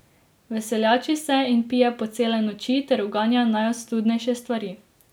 Veseljači se in pije po cele noči ter uganja najostudnejše stvari.